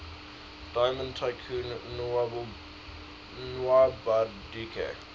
diamond tycoon nwabudike